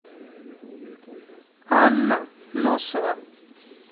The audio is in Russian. анна носова